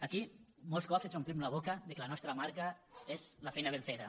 aquí molts cops ens omplim la boca que la nostra marca és la feina ben feta